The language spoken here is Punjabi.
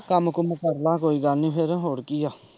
ਕੰਮ-ਕੂਮ ਕਰ ਲੈ ਕੋਈ ਗੱਲ ਨਈ ਫੇਰ ਹੋਰ ਕੀ ਏ।